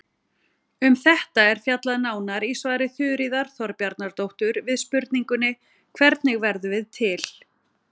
Um þetta er fjallað nánar í svari Þuríðar Þorbjarnardóttur við spurningunni Hvernig verðum við til?